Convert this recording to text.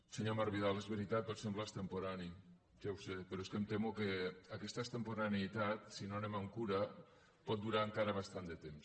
senyor marc vidal és veritat pot semblar extemporani ja ho sé però és que em temo que aquesta extemporaneïtat si no anem amb cura pot durar encara bastant de temps